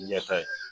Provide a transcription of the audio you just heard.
Ɲɛta in